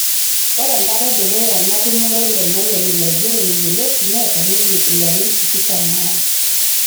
Ore ekata edukuya natumure Lemayian ilo aigeroni yioloti neeta ninye ilarin tikitam o are